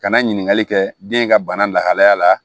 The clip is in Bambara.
Ka na ɲininkali kɛ den ka bana lahalaya la